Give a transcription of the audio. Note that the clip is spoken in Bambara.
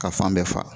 Ka fan bɛɛ fa